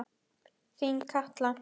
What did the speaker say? Þín Katla.